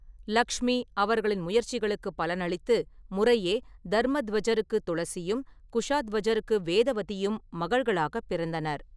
லக்ஷ்மி அவர்களின் முயற்சிகளுக்குப் பலனளித்து முறையே தர்மத்வஜருக்கு துளசியும், குஷாத்வஜருக்கு வேதவதியும் மகள்களாகப் பிறந்தனர்.